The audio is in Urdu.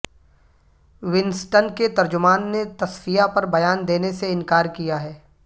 ونسٹن کے ترجمان نے تصفیہ پر بیان دینے سے انکار کیا ہے